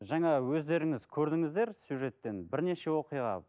жаңа өздеріңіз көрдіңіздер сюжеттен бірнеше оқиға